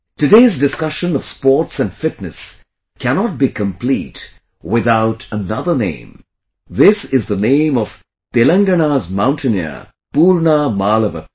Today's discussion of sports and fitness cannot be complete without another name this is the name of Telangana's mountaineer Poorna Malavath